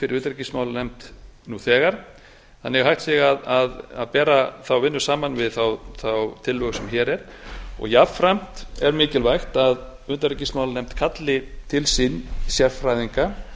fyrir utanríkismálanefnd nú þegar þannig að hægt sé að bera þá vinnu saman við þá tillögu sem hér er og jafnframt er mikilvægt að utanríkismálanefnd kalli til sín sérfræðinga